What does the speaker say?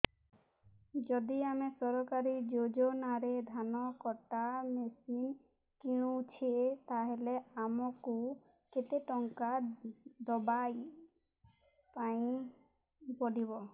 ଯଦି ଆମେ ସରକାରୀ ଯୋଜନାରେ ଧାନ କଟା ମେସିନ୍ କିଣୁଛେ ତାହାଲେ ଆମକୁ କେତେ ଟଙ୍କା ଦବାପାଇଁ ପଡିବ